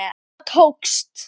Það tókst!